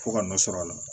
Fo ka nɔ sɔrɔ a la